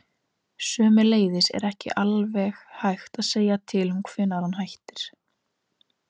Sömuleiðis er ekki alveg hægt að segja til um hvenær hann hættir.